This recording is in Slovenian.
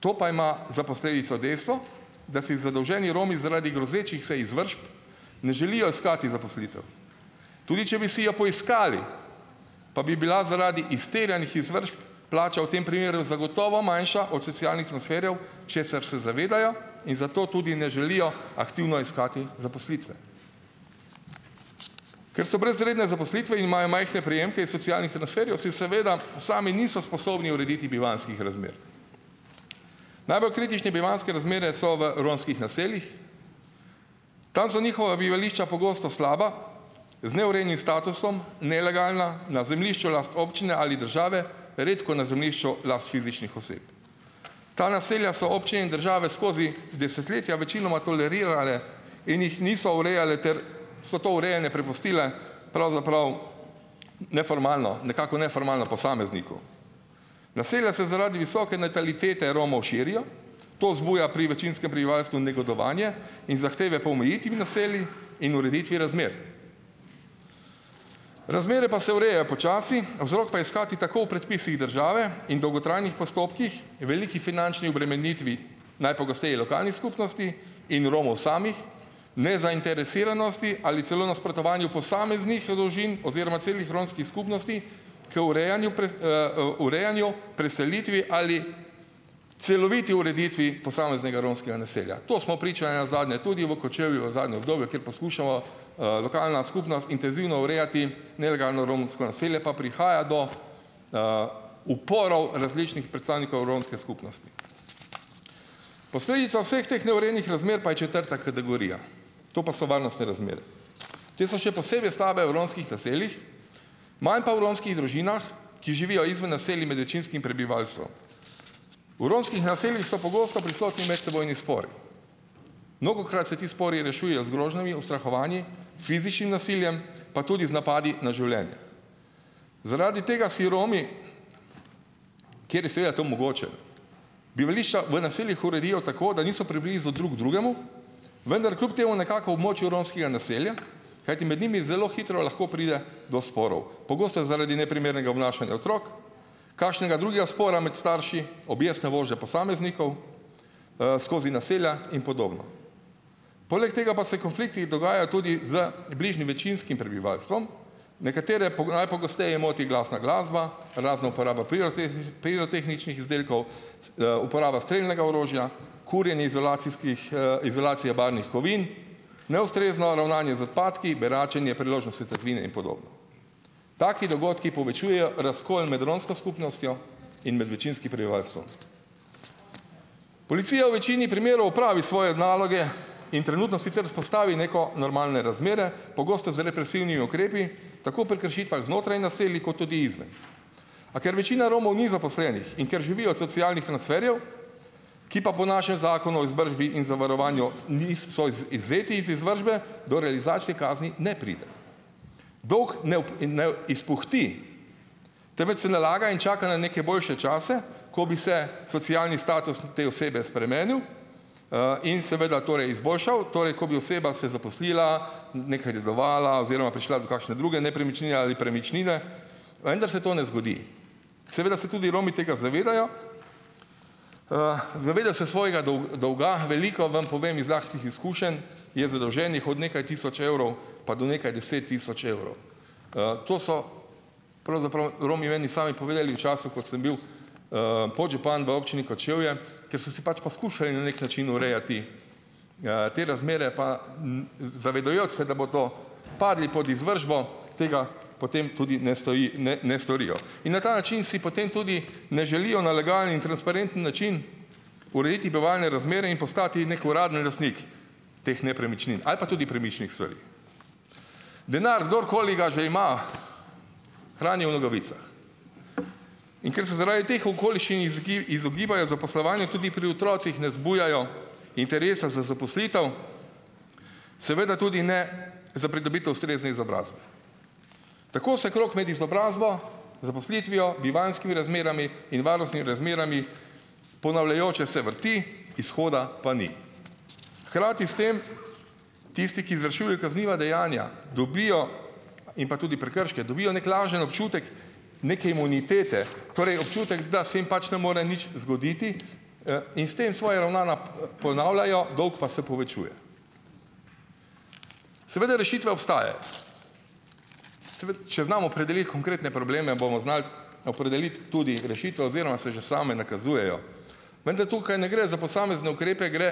To pa ima za posledico dejstvo, da si zadolženi Romi zaradi grozečih se izvršb ne želijo iskati zaposlitev. Tudi če bi si jo poiskali, pa bi bila zaradi izterjanih izvršb plača v tem primeru zagotovo manjša od socialnih transferjev, česar se zavedajo in zato tudi ne želijo aktivno iskati zaposlitve. Ker so brez redne zaposlitve in imajo majhne prejemke iz socialnih transferjev, si seveda sami niso sposobni urediti bivanjskih razmer. Najbolj kritični bivanjske razmere so v romskih naseljih, tam so njihova bivališča pogosto slaba, z neurejenim statusom, nelegalna, na zemljišču last občine ali države, redko na zemljišču last fizičnih oseb. Ta naselja so občine in države skozi desetletja večinoma tolerirale in jih niso urejale, ter so to urejanje prepustile pravzaprav neformalno, nekako neformalno posamezniku. Naselja se zaradi visoke natalitete Romov širijo, to zbuja pri večinskem prebivalstvu negodovanje in zahteve po omejitvi naselij in ureditvi razmer. Razmere pa se urejajo počasi, vzrok pa je iskati tako v predpisih države in dolgotrajnih postopkih, veliki finančni obremenitvi, najpogosteje lokalnih skupnosti in Romov samih, nezainteresiranosti ali celo nasprotovanju posameznih družin oziroma celih romskih skupnosti k urejanju, urejanju, preselitvi ali celoviti ureditvi posameznega romskega naselja. To smo priča nenazadnje tudi v Kočevju v zadnjem obdobju, kjer poskušamo lokalna skupnost intenzivno urejati nelegalno romsko naselje, pa prihaja do uporov različnih predstavnikov romske skupnosti. Posledica vseh teh neurejenih razmer pa je četrta kategorija, to pa so varnostne razmere. Te so še posebej slabe v romskih naseljih, manj pa v romskih družinah, ki živijo izven naselij med večinskih prebivalstvom. V romskih naseljih so pogosto prisotni medsebojni spori. Mnogokrat se ti spori rešujejo z grožnjami, ustrahovanji, fizičnim nasiljem, pa tudi z napadi na življenje. Zaradi tega si Romi, kjer je seveda to mogoče, bivališča v naseljih uredijo tako, da niso preblizu drug drugemu, vendar kljub temu nekako v območju romskega naselja, kajti med njimi zelo hitro lahko pride do sporov. Pogosto zaradi neprimernega obnašanja otrok, kakšnega drugega spora med starši, objestne vožnje posameznikov skozi naselja in podobno. Poleg tega pa se konflikti dogajajo tudi z bližnjim večinskim prebivalstvom. Nekatere najpogosteje moti glasna glasba, razna uporaba pirotehničnih izdelkov, uporaba strelnega orožja, kurjenje izolacijskih izolacije barvnih kovin, neustrezno ravnanje z odpadki, beračenje, priložnostne tatvine in podobno. Taki dogodki povečujejo razkol med romsko skupnostjo in med večinskim prebivalstvom. Policija v večini primerov opravi svoje naloge in trenutno sicer vzpostavi neko normalne razmere, pogosto z represivnimi ukrepi, tako pri kršitvah znotraj naselij, kot tudi izven. A ker večina Romov ni zaposlenih in ker živijo od socialnih transferjev, ki pa po našem Zakonu o izvršbi in zavarovanju niso so izvzeti iz izvršbe, do realizacije kazni ne pride. Dolg in ne izpuhti, temveč se nalaga in čaka na neke boljše čase, ko bi se socialni status te osebe spremenil in seveda torej izboljšal, torej ko bi oseba se zaposlila, nekaj dedovala oziroma prišla do kakšne druge nepremičnine ali premičnine, vendar se to ne zgodi. Seveda se tudi Romi tega zavedajo, zavedajo se svojega dolga. Veliko, vam povem iz lastnih izkušenj, je zadolženih od nekaj tisoč evrov pa do nekaj deset tisoč evrov. To so pravzaprav Romi meni sami povedali v času, ko sem bil podžupan v občini Kočevje, ker so si pač poskušali na neki način urejati te razmere, pa n zavedajoč se, da bodo padli pod izvršbo, tega potem tudi ne ne ne storijo. In na ta način si potem tudi ne želijo na legalen in transparenten način urediti bivalne razmere in postati neki uraden lastnik teh nepremičnin ali pa tudi premičnih stvari. Denar, kdorkoli ga že ima, hranijo v nogavicah. In ker se zaradi teh okoliščin izogibajo zaposlovanju, tudi pri otrocih ne zbujajo interesa za zaposlitev, seveda tudi ne za pridobitev ustrezne izobrazbe. Tako se krog med izobrazbo, zaposlitvijo, bivanjskimi razmerami in varnostnimi razmerami ponavljajoče se vrti, izhoda pa ni. Hkrati s tem, tisti, ki izvršujejo kazniva dejanja, dobijo in pa tudi prekrške, dobijo neki lažen občutek neke imunitete, torej občutek, da se jim pač ne more nič zgoditi in s tem svoja ravnanja ponavljajo, dolg pa se povečuje. Seveda rešitve obstajajo. Če znamo opredeliti konkretne probleme, bomo znali opredeliti tudi rešitve oziroma se že same nakazujejo, vendar tukaj ne gre za posamezne ukrepe, gre